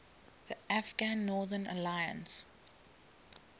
afghan northern alliance